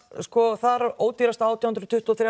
þar ódýrust átján hundruð tuttugu og þrjár